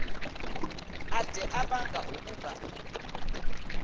ade abanga ukuba